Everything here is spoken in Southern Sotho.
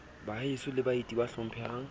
baheso le baeti ba hlomphehang